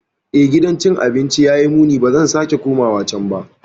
Eh, gidan cin abinci ya yi muni - ba zan sake komawa can ba.